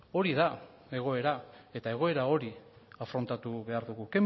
hori da egoera eta egoera hori afrontatu behar dugu